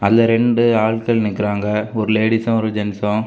அதுல ரெண்டு ஆள்கள் நிக்குராங்க ஒரு லேடீஸ்சு ஒரு ஜெண்டஸ்சு .